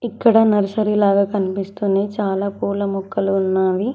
ఇక్కడ నర్సరీ లాగ కనిపిస్తూనే చాలా పూల మొక్కలు ఉన్నావి.